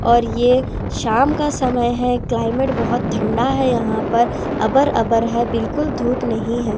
और ये शाम का समय है क्लाइमेट बहुत ठंडा है यहां पर अबर-अबर है बिल्कुल धूप नहीं है.